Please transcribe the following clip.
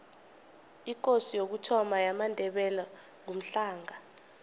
ikosi yokuthoma yamandebele ngumhlanga